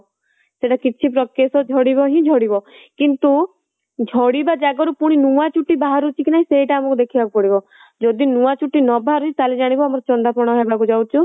ସେଇଟା କିଛି କେଶ ଝାଡ଼ିବ ହିଁ ଝାଡ଼ିବ କିନ୍ତୁ ଝାଡ଼ିବା ଜାଗା ରୁ ପୁଣି ନୂଆ ଚୁଟି ବାହାରୁଚି କି ନାହିଁ ସେଇଟା ଆମକୁ ଦେଖିବାକୁ ପଡିବ ଯଦି ନୂଆ ଚୁଟି ନ ବାହାରୁଚି ତାହାଲେ ଜାଣିବ ଆମର ଚନ୍ଦା ପଣ ହବାକୁ ଯାଉଛି